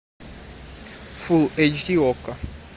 фул эйч ди окко